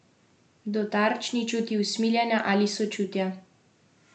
Do tarč ni čutil usmiljenja ali sočutja.